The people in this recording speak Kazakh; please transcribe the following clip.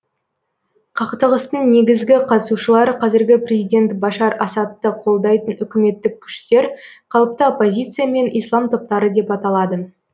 қақтығыстың негізгі қатысушылары қазіргі президент башар асадты қолдайтын үкіметтік күштер қалыпты оппозиция мен ислам топтары деп аталады